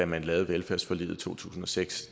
man lavede velfærdsforliget i to tusind og seks